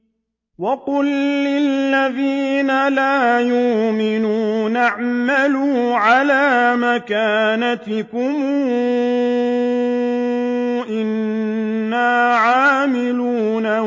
وَقُل لِّلَّذِينَ لَا يُؤْمِنُونَ اعْمَلُوا عَلَىٰ مَكَانَتِكُمْ إِنَّا عَامِلُونَ